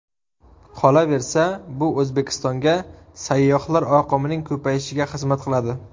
Qolaversa, bu O‘zbekistonga sayyohlar oqimining ko‘payishiga xizmat qiladi.